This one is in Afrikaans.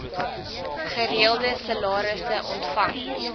gereelde salarisse ontvang